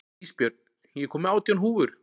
Ísbjörn, ég kom með átján húfur!